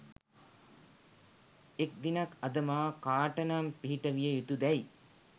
එක් දිනක් අද මා කාටනම් පිහිට විය යුතුදැයි